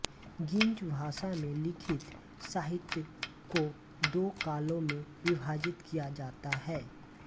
geese भाषा में लिखित साहित्य को दो कालों में विभाजित किया जाता है